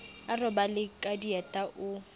a robale ka dieta o